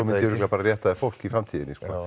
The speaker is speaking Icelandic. örugglega bara rétta þér fólkið í framtíðinni sko